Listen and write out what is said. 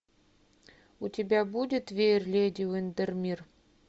у тебя будет веер леди уиндермир